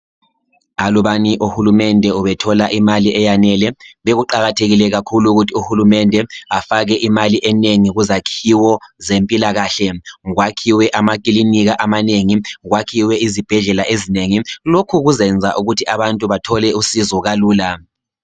Alubani uhulunde ubethola imali eyanele bekuqakathekile ukuthi afake imali enengi kuzakhiyo zempilakahle kwakhiwe amaklinika amanengi kwakhiwe izibhedlela ezinengi lokho kuzayenza bantu bathole usizo kalula